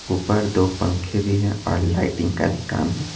ऊपर दो पंखे भी हैं और लाइटिंग का भी काम --